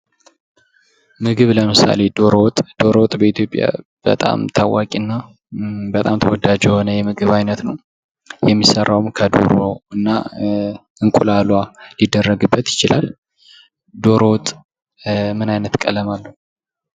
ምግብ ለምሳሌ ዶሮ ወጥ በኢትዮጵያ በጣም ታዋቂ እና በጣም ተወዳጅ የሆነ የምግብ አይነት ነው። የሚሰራውም ከዶሮ እና እንቁላሏ ሊደረግበት ይችላል። ዶሮ ወጥ ምን ዓይነት ቀለም አለው?